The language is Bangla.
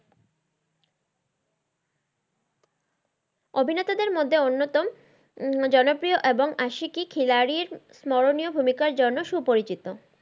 অভিনেতাদের মধ্যে অন্যতম জনপ্রিয় এবং আশিকি খিলাড়ি স্মরনিয় ভুমিকার জন্য সুপরিচিত।